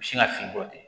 U sin ka fin bɔ ten